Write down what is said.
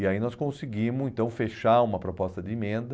E aí nós conseguimos então fechar uma proposta de emenda.